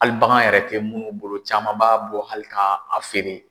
Hali bagan yɛrɛ tɛ munnu bolo caman b'a bɔ hali ka a feere.